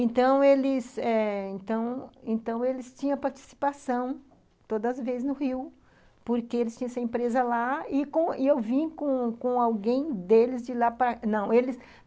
Então, eles eh então então eles tinham participação todas as vezes no Rio, porque eles tinham essa empresa lá, e com, e eu vim com com alguém deles de lá para, não, eles